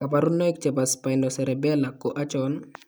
kabarunaik chebo Spinocerebellar ko achon ?